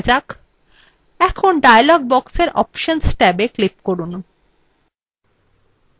এখন dialog বক্সের options ট্যাবে click করুন